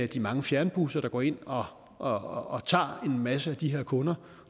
de mange fjernbusser der går ind og tager en masse af de her kunder